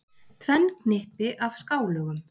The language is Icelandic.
Tvenn knippi af skálögum.